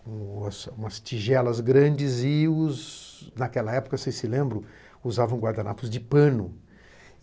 com umas tigelas grandes e os, naquela época, vocês se lembram, usavam guardanapos de pano.